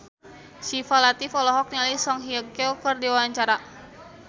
Syifa Latief olohok ningali Song Hye Kyo keur diwawancara